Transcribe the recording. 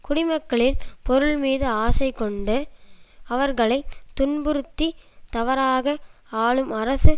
குடிமக்களின் பொருள்மீது ஆசை கொண்டு அவர்களை துன்புறுத்தித் தவறாக ஆளும் அரசு